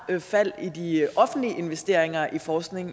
fald i de offentlige investeringer i forskning